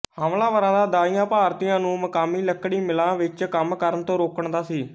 ਹਮਲਾਵਰਾਂ ਦਾ ਦਾਈਆ ਭਾਰਤੀਆਂ ਨੂੰ ਮਕਾਮੀ ਲੱਕੜੀ ਮਿਲਾਂ ਵਿੱਚ ਕੰਮ ਕਰਨ ਤੋਂ ਰੋਕਣ ਦਾ ਸੀ